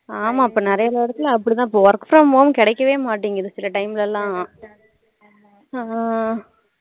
ஆஹ் ஆமா இப்போ நிறைய இடத்துல அப்படிதான் work from home கேடைக்கவே மாட்டிங்குது சில time லலாம்